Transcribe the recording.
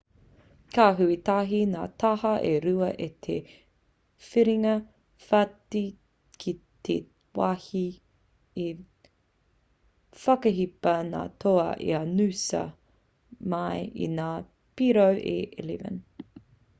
ka hui tahi ngā taha e rua i te whiringa whāiti ki te wāhi i whakahipa ngā toa i a noosa mai i ngā piro e 11